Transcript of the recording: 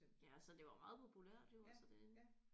Ja altså det var meget populært jo altså det